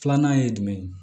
Filanan ye jumɛn ye